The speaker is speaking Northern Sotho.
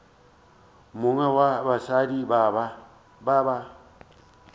mongwe wa basadi ba ba